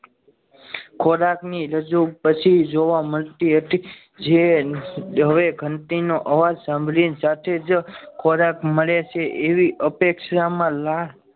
ખોરાકના રજુ પછી જોવા મળતી હતી જે હવે ઘંટી નો અવાજ સાંભળીને સાથે જ ખોરાક મળે છે એવી અપેક્ષામાં લાળ